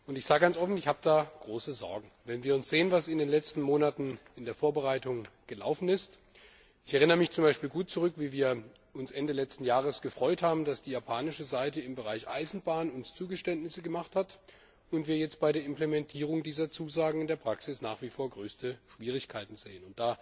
Ich sage offen, dass ich da große Sorgen habe, wenn wir sehen, was in den letzten Monaten in der Vorbereitung gelaufen ist. Ich erinnere mich z. B. gut daran, wie wir uns Ende letzten Jahres gefreut haben, dass die japanische Seite uns gegenüber im Bereich Eisenbahn Zugeständnisse gemacht hat, wir aber jetzt bei der Implementierung dieser Zusagen in der Praxis nach wie vor größte Schwierigkeiten sehen.